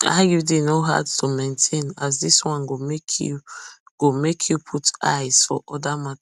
iud no hard to maintain as this one go make you go make you put eyes for other matters